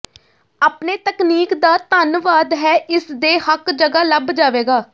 ਆਪਣੇ ਤਕਨੀਕ ਦਾ ਧੰਨਵਾਦ ਹੈ ਇਸ ਦੇ ਹੱਕ ਜਗ੍ਹਾ ਲੱਭ ਜਾਵੇਗਾ